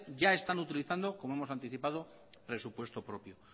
ya están utilizando como hemos anticipado presupuesto propio